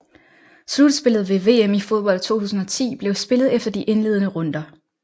Slutspillet ved VM i fodbold 2010 blev spillet efter de indledene runder